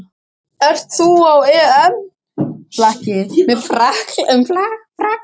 Ert þú á EM-flakki um Frakkland?